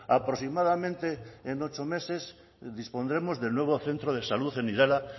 aproximadamente en ocho meses dispondremos del nuevo centro de salud en irala